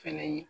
Fɛnɛ ye